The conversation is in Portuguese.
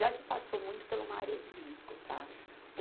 Já se passou muito pela uma área de risco, tá?